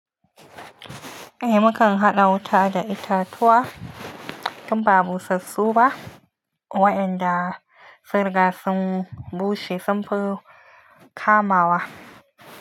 Eh, mukan haɗa wuta da itatuwa tun ba busassu ba, waɗanda sunriga sun bushe sunfi kamawa.